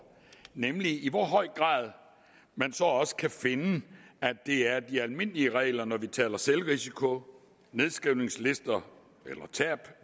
nemlig i hvor høj grad man så også kan finde at det er de almindelige regler når vi taler selvrisiko nedskrivningslister eller tab